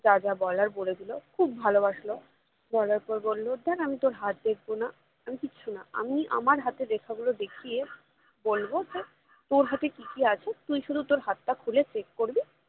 যা যা বলার বলে দিলো খুব ভালোবাসলো বলার পর বললো দেখ আমি তোর হাত দেখবো না আমি কিছু না আমি আমার হাতের রেখা গুলো দেখিয়ে বলবো যে তোর হাতে কি কি আছে তুই শুধু তোর হাতটা খুলে check করবি